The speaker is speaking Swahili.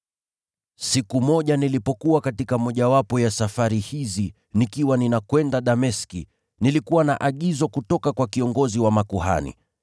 “Siku moja nilipokuwa katika mojawapo ya safari hizi nikiwa ninakwenda Dameski, nilikuwa na mamlaka na agizo kutoka kwa kiongozi wa makuhani.